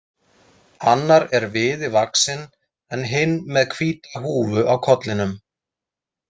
Annar er viði vaxinn en hinn með hvíta húfu á kollinum.